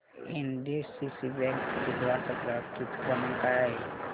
NDCC bank दिघवड चा ग्राहक हित क्रमांक काय आहे